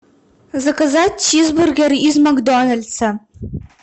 заказать чизбургер из макдональса